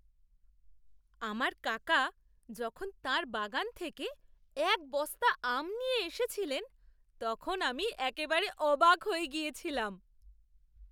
আমার কাকা যখন তাঁর বাগান থেকে এক বস্তা আম নিয়ে এসেছিলেন, তখন আমি একেবারে অবাক হয়ে গিয়েছিলাম।